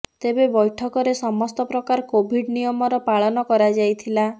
ତେବେ ବୈଠକରେ ସମସ୍ତ ପ୍ରକାର କୋଭିଡ୍ ନିୟମର ପାଳନ କରାଯାଇଥିଲା